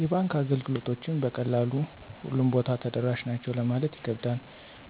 የባንክ አገልግሎቶችን በቀላሉ ሁሉም ቦታ ተደራሽ ናቸው ለማለት ይከብዳል